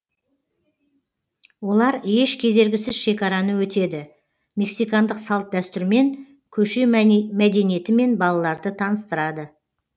олар еш кедергісіз шекараны өтеді мексикандық салт дәстүрмен көше мәдениетімен балаларды таныстырады